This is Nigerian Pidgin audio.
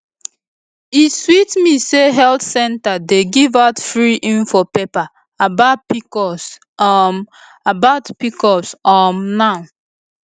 e sweet me say health center dey give out free info paper about pcos um about pcos um now